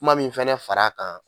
Kuma min fɛnɛ far'a kan